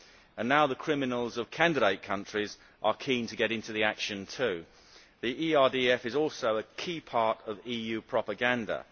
And now the criminals of candidate countries are keen to get in on the action too. The ERDF is a key part of EU propaganda.